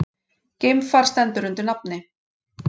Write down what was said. Geimfar stendur undir nafni